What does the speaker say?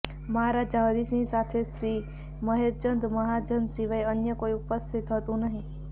મહારાજા હરિસિંહ સાથે શ્રી મહેરચંદ મહાજન સિવાય અન્ય કોઈ ઉપસ્થિત હતું નહીં